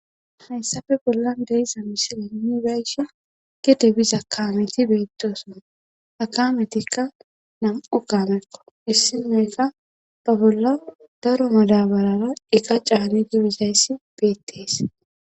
hayssafe bollan deyiza misileni bayshi gede biza kaameti beettosuma akaametikka nam7u kaamekko issi mayka ba bolla daro madabarara eka caani dibizayssi beettees